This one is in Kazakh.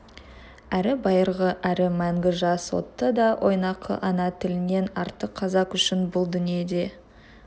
әрі байырғы әрі мәңгі жас отты да ойнақы ана тілінен артық қазақ үшін бұл дүниеде